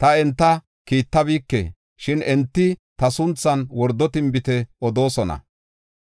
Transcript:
Ta enta kiittabike; shin enti ta sunthan wordo tinbite odoosona.